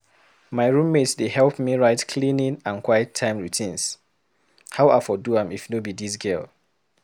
My roommate dey help me write cleaning and quiet time routines. How I for do am if no be dis girl?